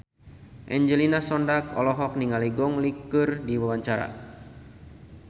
Angelina Sondakh olohok ningali Gong Li keur diwawancara